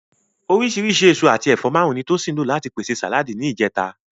Oríṣìíríṣìí èso àti ẹ̀fọ́ márùn-ún ni Tosin lò láti pèsè sàláàdì ní ìjẹta